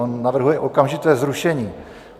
On navrhuje okamžité zrušení.